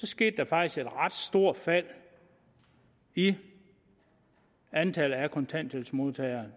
skete et ret stort fald i antallet af kontanthjælpsmodtagere